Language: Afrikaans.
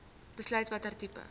besluit watter tipe